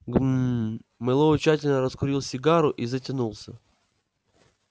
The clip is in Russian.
гм-м-м мэллоу тщательно раскурил сигару и затянулся